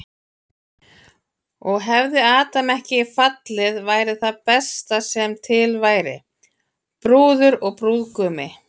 Og hefði Adam ekki fallið væri það besta sem til væri, brúður og brúðgumi.